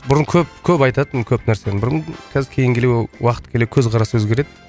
бұрын көп көп айтатынмын көп нәрсені бұрын қазір кейін келе уақыт келе көзқарас өзгереді